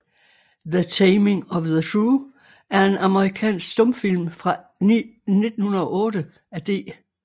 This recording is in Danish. The Taming of the Shrew er en amerikansk stumfilm fra 1908 af D